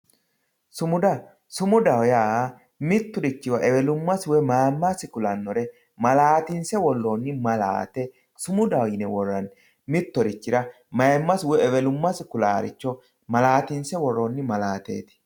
sumuda sumudaho yaa mitturichira mayiimasi woye ewelummasi kulannore malaatinse worronni malaate sumudaho yine worranni mitturichira mayiimasi woye ewelummasi kulannore malaatinse worronni malaate.